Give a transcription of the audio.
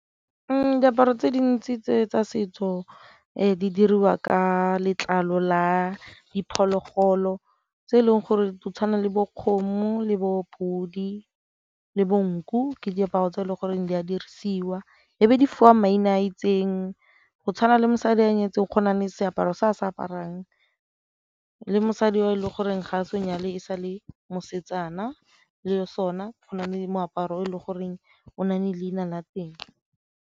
Diaparo tse dintsi tse tsa setso di dirwa ka letlalo la diphologolo tse e leng gore di tshwana le bo kgomo, le bo podi, le bo nku ke diaparo tse e leng goreng di a dirisiwa e be di fiwa maina a itseng, go tshwana le mosadi a nyetseng go na le seaparo se a se aparang le mosadi yo o e le goreng ga a se a nyale e sa le mosetsana le sone go na le moaparo e le goreng o nne leina la teng.